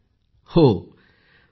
Poonam Nautiyal जी